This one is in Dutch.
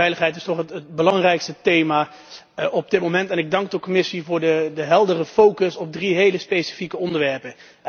Veiligheid is toch het belangrijkste thema op dit moment en ik dank de Commissie voor de heldere focus op drie hele specifieke onderwerpen.